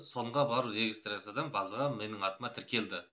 сонда барып регистрациядан базаға менің атыма тіркелді